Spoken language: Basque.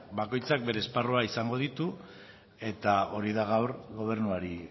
bakoitzak bere esparruak izango ditu eta hori da gaur gobernuari